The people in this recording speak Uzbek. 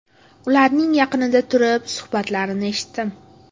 Ularning yaqinida turib suhbatlarini eshitdim.